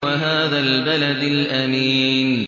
وَهَٰذَا الْبَلَدِ الْأَمِينِ